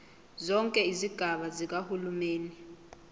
zonke izigaba zikahulumeni